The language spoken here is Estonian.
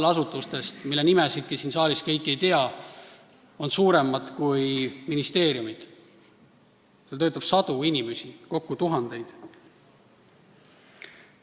Enamik nendest, mille nimesidki siin saalis kõik ei tea, on suuremad kui ministeeriumid, seal töötab sadu inimesi, kokku on neid töötajaid tuhandeid.